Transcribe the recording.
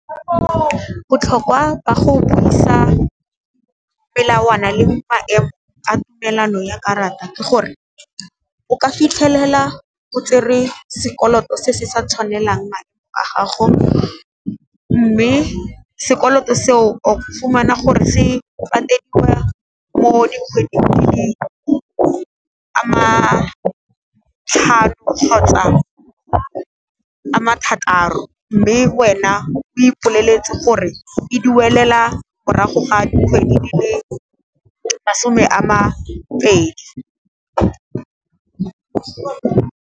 Botlhokwa ba go buisa melawana le maemo a tumelano ya karata ke gore, o ka fitlhelela o tsere sekoloto se se sa tshwanelang madi a gago, mme sekoloto seo o fumana gore se patediwa mo dikgweding di le a matlhano, kgotsa a mathataro mme wena o ipoleletse gore e duelela morago ga dikgwedi di le masome a mapedi.